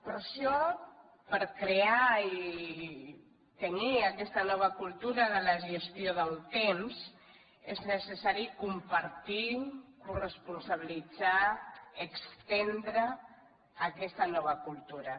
per això per crear i tenir aquesta nova cultura de la gestió del temps és necessari compartir coresponsabilitzar estendre aquesta nova cultura